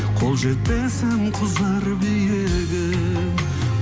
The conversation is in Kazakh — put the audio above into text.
қол жетпесім кұзар биігім